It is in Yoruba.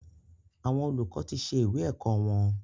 Àwọn olùkọ tí ṣe ìwé ẹ̀kọ́ wọn.